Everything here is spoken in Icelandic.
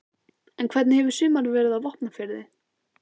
En hvernig hefur sumarið verið á Vopnafirði?